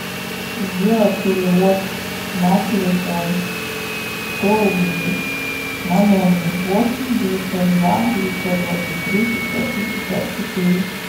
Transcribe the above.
сделать перевод на телефон сто рублей на номер восемь девятьсот два девятьсот двадцать три пятьсот шестьдесят четыре